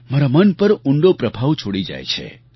મારા મન પર ઊંડો પ્રભાવ છોડી જાય છે